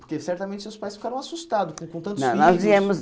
Porque certamente seus pais ficaram assustados com tantos filhos. Não nós viemos